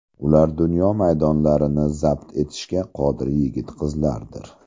Ular dunyo maydonlarini zabt etishga qodir yigit-qizlardir.